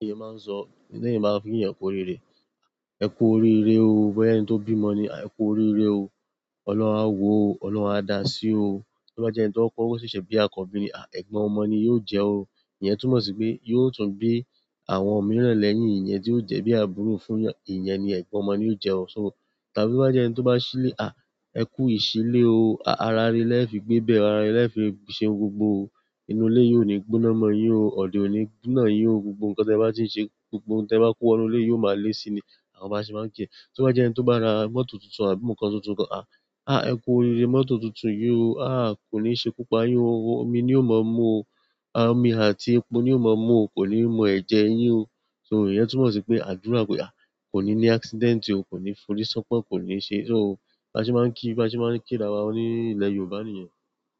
Ẹ̀mí máa n sọ, ẹ̀níyẹ̀n máa n fì kini yen ku óriré. "Ẹ kú oríire o". Bóyá ẹni tó bímọ ni, "Ẹ kú oríire o. Ọlọ́run a wo o. Ọlọ́run a da sí o". Tóbájẹ́ ẹni tó k'ówó sẹ sẹ bi àkọ́bí ni, ẹ̀gbọ́n ọmọ ni yó jẹ o". Iyẹ̀n túmọ̀ sí pé, yóò tún bi àwọn òmíràn lẹ́yìn iyen ti o je bi àbúrò fún èèyàn, iyen ni ègbón ọmọ ni o je o so tàbí bá jẹ́ ẹni tó bá sílé, ẹ kú ìsílé o. Ará irẹ lẹ́ fi gbébẹ̀ẹ́, ará irẹ lẹ́ fi ṣé gbogbo o. Inú ilé yó ni gbóná mọ̀ yín o, ọ̀nà ọ̀ní na yín o. Gbogbo nǹkan tí ẹ bá ti n ṣe, gbogbo ohun tí ẹ bá kó wá inú ilé yó ma lé síi ni" àwọn bá sì máa ń jẹ́. Tóbájẹ́ ẹni tó bá ra mọ́tò tuntun àbí nǹkan tuntun kan, ẹ kú oríire mọ́tò tuntun yín o. Ko ni se ikú pa yin o. Omi ni yóò mọ mú o. Omi àti epo ni yóò mọ mú o. Kò ní mu ẹ̀jẹ̀ yín o. So iyẹ̀n túmọ̀ sí pé àdúrà kò yá, kò ní ní accident o, kò ní fòrí sọ́pọ̀n, kò ní ṣe so. Baṣe máa ń kí, baṣe máa ń ki ára wa ní ilẹ̀ Yorùbá nìyẹn.